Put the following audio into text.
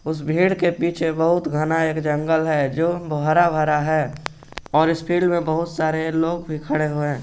इस भीड़ के पीछे बहुत घना एक जंगल है जो हरा भरा है और इस भीड़ में बहुत सारे लोग भी खडे है।